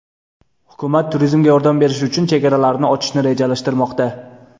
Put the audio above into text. Hukumat turizmga yordam berish uchun chegaralarini ochishni rejalashtirmoqda.